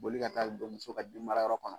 Boli ka taa don muso ka bin mara yɔrɔ kɔnɔ.